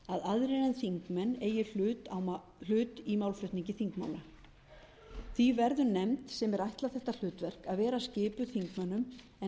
að aðrir en þingmenn eigi hlut í málflutningi þingmanna því verður nefnd sem er ætlað að þetta hlutverk að vera skipuð þingmönnum en ekki utanþingsmönnum